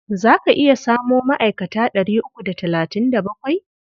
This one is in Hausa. Za ka iya samo ma'aikata ɗari uku da talatin da bakwai?